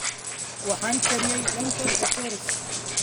Waxaan kariyey lentil kachoris.